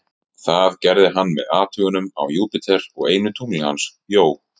Það gerði hann með athugunum á Júpíter og einu tungli hans, Jó.